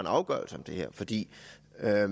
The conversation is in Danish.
at